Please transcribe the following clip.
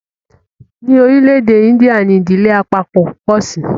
ní orílé èdè India ní Ìdílé àpapo po sí.